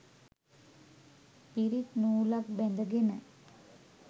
පිරිත් නූලක් බැඳගෙන